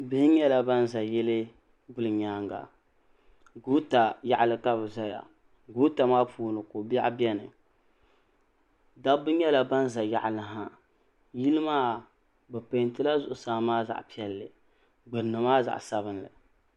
bihi nyɛla ban ʒɛ yili guli nyɛŋa goota yaɣili ka bɛ zaya goota maa puuni ko bɛɣigu bɛni daba nyɛla ban za yaɣili ha yili maa pɛntɛla zaɣ' piɛli gbani maa zaɣ' sabinli